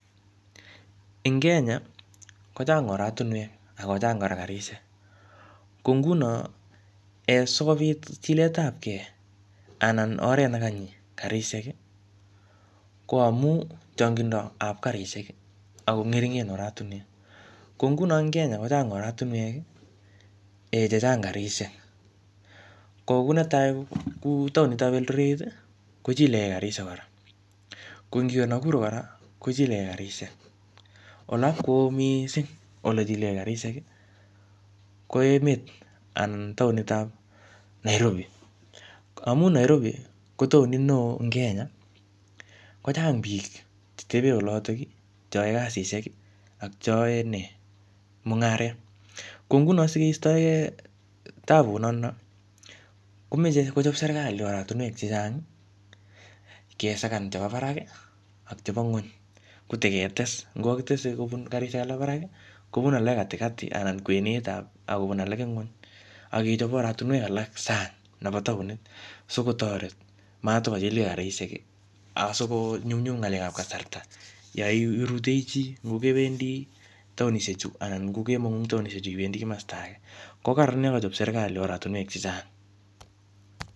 Eng Kenya, kochang oratunwek, akochang kora karishek. Ko nguno, um sikobit chiletapkey, anan oret ne kanyi karishek, ko amu changindo ap karishek, ako ngeringen oratunwek. Ko nguno eng Kenya, kochang oratunwek um che chang karishek. Ko ku netai, kou taunitab Eldoret, kojilekey karishek kora. Ko ngiwe Nakuru kora, kojilekey karishek. Olot kuu missing ole jilekey karishek, ko emet anan taonitab Nairobi. Amu Nairobi, ko taunit neoo ing Kenya, kochang biik chetebee olotok, che ae kasishek, ak cheyae mung'aret. Ko nguno sikeistoekey tabut notono, komeche kochop serikai oratunwek chechang, kesakan chebo barak, ak chebo nguny, koteketes. Ngo kakitese kobun karishek alak barak, kobun alak katikati anan kwenet ab akobun alake ng'uny akechop oratunwek alak sang nebo taon, sikotoret matkochilkey karishek, asikonyumnyum ngalekab kasarta, yoiruitoi chii. Ngo kewendi taonishek chu, anan, ngokemong'u eng taonishek chu iwendi kimasta age, ko kararan yokochop serikali oratunwek chechang.